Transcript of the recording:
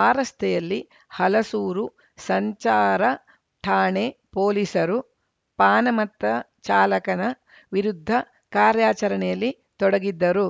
ಆ ರಸ್ತೆಯಲ್ಲಿ ಹಲಸೂರು ಸಂಚಾರ ಠಾಣೆ ಪೊಲೀಸರು ಪಾನಮತ್ತ ಚಾಲಕನ ವಿರುದ್ಧ ಕಾರ್ಯಾಚರಣೆಯಲ್ಲಿ ತೊಡಗಿದ್ದರು